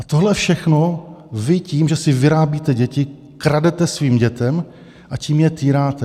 A tohle všechno vy tím, že si vyrábíte děti, kradete svým dětem, a tím je týráte.